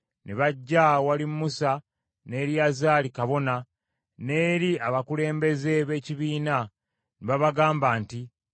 Ne bajja awali Musa ne Eriyazaali kabona, n’eri abakulembeze b’ekibiina ne babagamba nti,